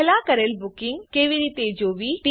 પેહલા કરેલ બુકિંગ કેવી રીતે જોવું